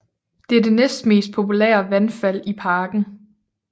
Det er det næstmest populære vandfald i parken